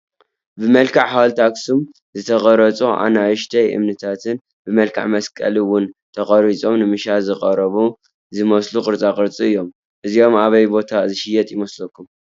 ብመልክዕ ሓወልቲ ኣኽሱም ዝተቐረፁ ኣናእሽቱ እምኒታትን ብመልክዕ መስቀል ውን ተቐሪፆም ንመሸጣ ዝተቐረቡ ዝመስሉ ቅርፃ ቅርፅታት እዮም፡፡ እዚኦም ኣበይ ቦታ ዝሽየጡ ይመስለኩም?